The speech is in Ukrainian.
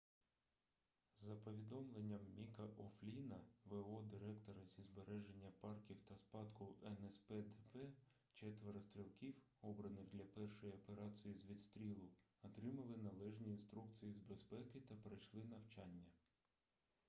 за повідомленням міка о'флінна в.о. директора зі збереження парків та спадку нспдп четверо стрілків обраних для першої операції з відстрілу отримали належні інструкції з безпеки та пройшли навчання